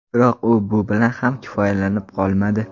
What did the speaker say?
Biroq u bu bilan ham kifoyalanib qolmadi.